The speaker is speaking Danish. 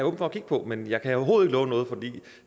over for at kigge på men jeg kan overhovedet ikke love noget for